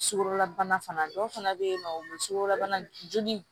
Sukaro bana fana dɔw fana be yen nɔ o sugorobana joli